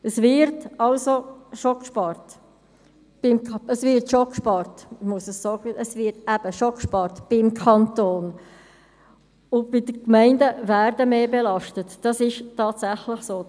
Es wird also beim Kanton tatsächlich gespart und die Gemeinden werden mehr belastet, das ist tatsächlich so.